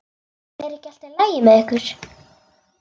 Er ekki allt í lagi með ykkur?